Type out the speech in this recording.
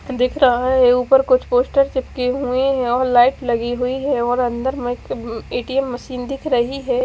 दिख रहा है ऊपर कुछ कुछ पोस्टर चिपके हुए है और लाइट लगी हुयी है और अंदर में एक ए_ टी_ एम् मशीन दिख रही ह--